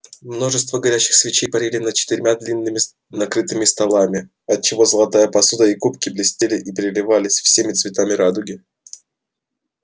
множество горящих свечей парили над четырьмя длинными накрытыми столами отчего золотая посуда и кубки блестели и переливались всеми цветами радуги